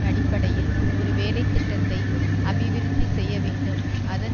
அடிப்படையில் ஒரு வேலை திட்டத்தை அபிவிருத்தி செய்ய வேண்டும் அதன்